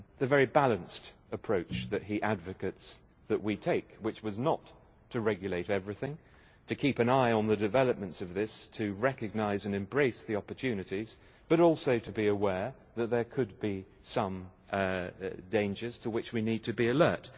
very balanced approach that he advocates that we take, which was not to regulate everything, but to keep an eye on the developments of this, to recognise and embrace the opportunities, but also to be aware that there could be some dangers to which we need to be alert.